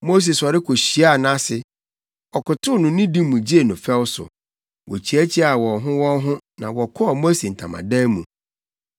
Mose sɔre kohyiaa nʼase. Ɔkotow no nidi mu gyee no fɛw so. Wokyiakyiaa wɔn ho wɔn ho na wɔkɔɔ Mose ntamadan mu.